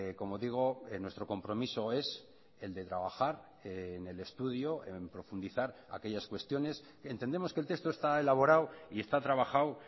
como digo nuestro compromiso es el de trabajar en el estudio en profundizar aquellas cuestiones entendemos que el texto está elaborado y está trabajado